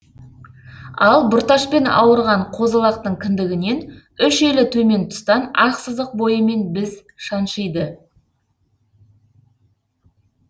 ал бұрташпен ауырған қозы лақтың кіндігінен үш елі төмен тұстан ақ сызық бойымен біз шаншиды